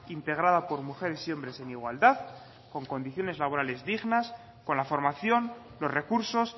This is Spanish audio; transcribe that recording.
integrada por mujeres y hombres en igualdad con condiciones laborales dignas con la formación los recursos